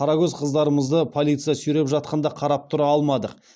қарагөз қыздарымызды полиция сүйреп жатқанда қарап тұра алмадық